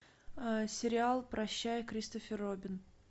сериал прощай кристофер робин